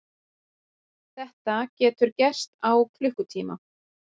Þetta getur gerst á klukkutíma.